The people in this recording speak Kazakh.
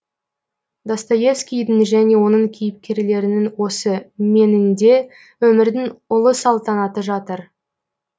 достоевскийдің және оның кейіпкерлерінің осы мен інде өмірдің ұлы салтанаты жатыр